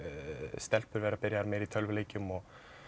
stelpur vera byrjaðar meira í tölvuleikjum og